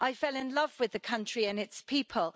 I fell in love with the country and its people.